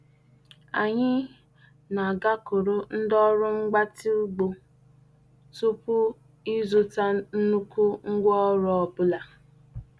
Anyị na-agakwuru ndị ọrụ mgbatị ugbo tupu ịzụta nnukwu ngwaọrụ ọ bụla.